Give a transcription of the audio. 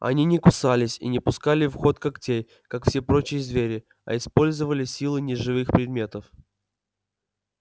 они не кусались и не пускали в ход когтей как все прочие звери а использовали силы неживых предметов